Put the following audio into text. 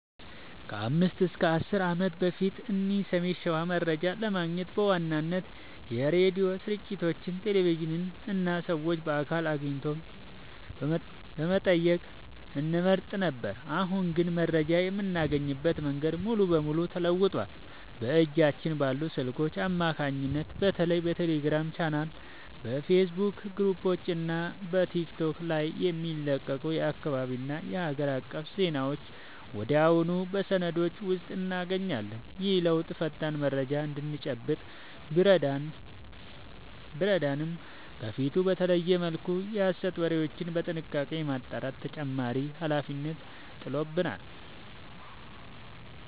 ከ5 እና 10 ዓመት በፊት እዚህ ሰሜን ሸዋ መረጃ ለማግኘት በዋናነት የሬዲዮ ስርጭቶችን፣ ቴሌቪዥንን እና ሰዎችን በአካል አግኝቶ መጠየቅን እንመርጥ ነበር። አሁን ግን መረጃ የምናገኝበት መንገድ ሙሉ በሙሉ ተለውጧል። በእጃችን ባሉ ስልኮች አማካኝነት በተለይ በቴሌግራም ቻናሎች፣ በፌስቡክ ግሩፖች እና በቲክቶክ ላይ የሚለቀቁ የአካባቢና የሀገር አቀፍ ዜናዎችን ወዲያውኑ በሰከንዶች ውስጥ እናገኛለን። ይህ ለውጥ ፈጣን መረጃ እንድንጨብጥ ቢረዳንም፣ ከበፊቱ በተለየ መልኩ የሐሰት ወሬዎችን በጥንቃቄ የማጣራት ተጨማሪ ኃላፊነት ጥሎብናል።